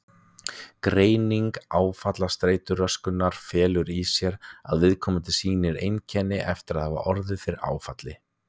Greining áfallastreituröskunar felur í sér að: Viðkomandi sýni einkenni eftir að hafa orðið fyrir áfalli.